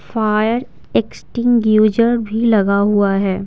Fire extinguisher भी लगा हुआ है।